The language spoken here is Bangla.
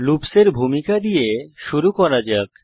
লুপস এর ভূমিকা দিয়ে শুরু করা যাক